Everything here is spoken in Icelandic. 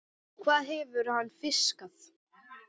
Hvað hefur hann fiskað?